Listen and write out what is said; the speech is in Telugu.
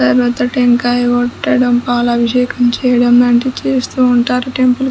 తరువాత టెంకాయ కొట్టడం పాల అభిషేకలు చేయటం లాంటివి చేస్తూ ఉంటారు. టెంపుల్ --